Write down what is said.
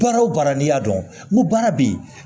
Baara o baara n'i y'a dɔn n ko baara bɛ yen